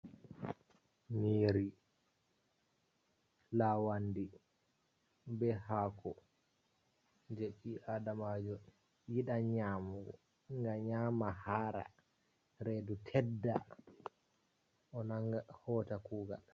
Nyiri lawandi be haako, je ɓi adamajo yiɗan nyamugo, nyama hara redu tedda, o nanga hota kugal.